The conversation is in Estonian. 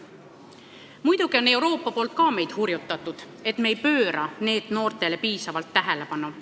Muidugi on meid Euroopa Liidust hurjutatud, et me ei pööra NEET-noortele piisavalt tähelepanu.